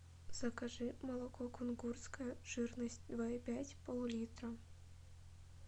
закажи молоко кунгурское жирность два и пять пол литра